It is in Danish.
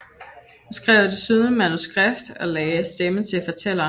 Hun skrev desuden manuskript og lagde stemme til fortælleren